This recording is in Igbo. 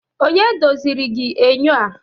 onye doziri gi enyo a?